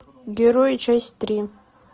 герои часть три